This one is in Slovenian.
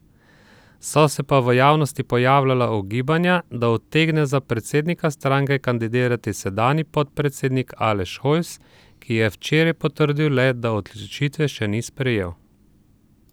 So se pa v javnosti pojavljala ugibanja, da utegne za predsednika stranke kandidirati sedanji podpredsednik Aleš Hojs, kije včeraj potrdil le, da odločitve še ni sprejel.